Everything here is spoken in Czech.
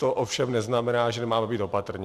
To ovšem neznamená, že nemáme být opatrní.